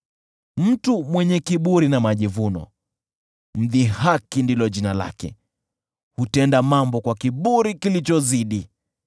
Mtu mwenye kiburi na majivuno, “Mdhihaki” ndilo jina lake; hutenda mambo kwa kiburi kilichozidi.